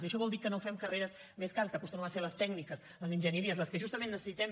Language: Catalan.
i això vol dir que no fem carreres més cares que acostumen a ser les tècniques les enginyeries les que justament necessitem